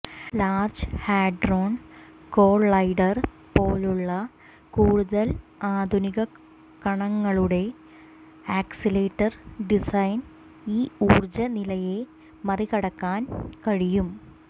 large Hadron Collider പോലുള്ള കൂടുതൽ ആധുനിക കണങ്ങളുടെ ആക്സിലറേറ്റർ ഡിസൈൻ ഈ ഊർജ്ജ നിലയെ മറികടക്കാൻ കഴിയും